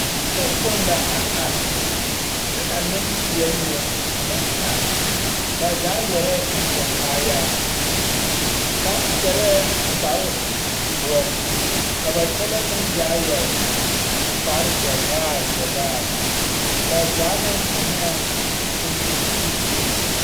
Yikpoŋ kpoŋ la a are, kyɛ ka nempeɛl yoŋ a meŋ are. Ba zaa yɛrɛɛ tontoŋ kaayaa. Kaŋ yɛrɛɛ kparedoɔ, ka ba kyɛlɛɛ meŋ zaa yɛre kparezɛvaare zɛvaare. Ba zaa meŋ eŋɛɛ toŋ toŋ zupile.